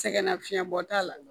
Sɛgɛnnafiɲɛbɔ t'a la